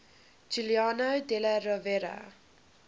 giuliano della rovere